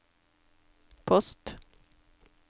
post